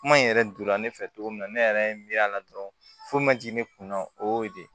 Kuma in yɛrɛ donna ne fɛ cogo min na ne yɛrɛ ye n miiri a la dɔrɔn foyi ma jigin ne kun na o y'o de ye